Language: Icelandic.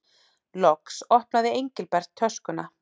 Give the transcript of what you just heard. Loks opnaði Engilbert töskuna.